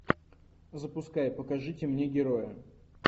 запускай покажите мне героя